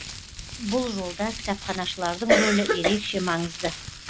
бұл жолда кітапханашылардың рөлі ерекше маңызды